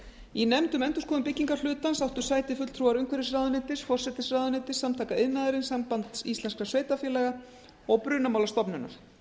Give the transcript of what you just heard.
í nefnd um endurskoðun byggingarhlutans áttu sæti fulltrúar umhverfisráðuneytis forsætisráðuneytis samtaka iðnaðarins sambands íslenskra sveitarfélaga og brunamálastofnunar